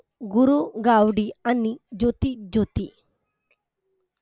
गुरु गावडी आणि ज्योती ज्योती